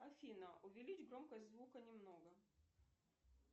афина увеличь громкость звука немного